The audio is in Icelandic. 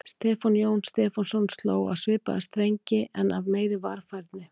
Stefán Jóhann Stefánsson sló á svipaða strengi en af meiri varfærni.